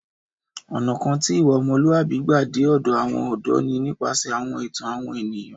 Ọ̀nà kan tí ìwà ọmọlúwàbí gbà dé ọ̀dọ̀ àwọn ọ̀dọ́ ni nípasẹ̀ àwọn ìtàn àwọn ènìyàn